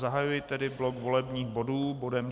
Zahajuji tedy blok volebních bodů bodem